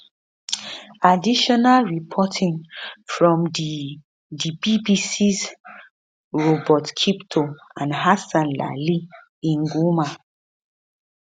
additional reporting from di di bbcs robert kiptoo and hassan lali in goma